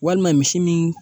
Walima misi min